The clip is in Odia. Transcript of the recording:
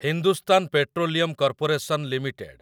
Hindustan petroleum corporation limited